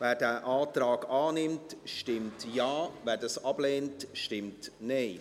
Wer diesen Antrag annimmt, stimmt Ja, wer diesen ablehnt, stimmt Nein.